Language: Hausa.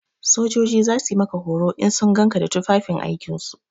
Sojoji za su yi maka horo idan sun gan ka da tufafin aikin su.